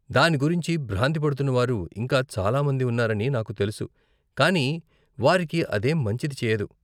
దాని గురించి భ్రాంతి పడుతున్నవారు ఇంకా చాలామంది ఉన్నారని నాకు తెలుసు, కానీ వారికి అదేం మంచిది చేయదు.